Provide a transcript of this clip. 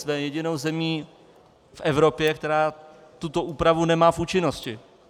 Jsme jedinou zemí v Evropě, která tuto úpravu nemá v účinnosti.